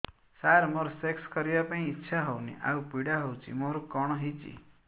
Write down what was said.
ସାର ମୋର ସେକ୍ସ କରିବା ପାଇଁ ଇଚ୍ଛା ହଉନି ଆଉ ପୀଡା ହଉଚି ମୋର କଣ ହେଇଛି